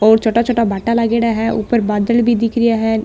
और छोटा छोटा भाटा लागेड़ा है ऊपर बादल भी दिख रिया है।